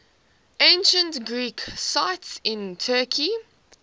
ancient greek sites in turkey